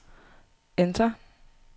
enter